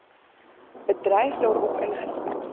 bedryf daarop ingestel